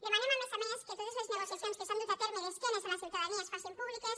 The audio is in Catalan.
demanem a més a més que totes les negociacions que s’han dut a terme d’esquenes a la ciutadania es facin públiques